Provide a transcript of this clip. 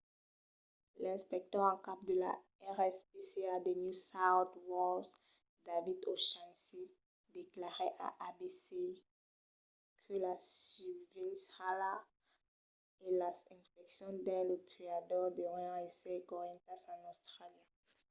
l'inspector en cap de la rspca de new south wales david o'shannessy declarèt a abc que la susvelhança e las inspeccions dins los tuadors deurián èsser correntas en austràlia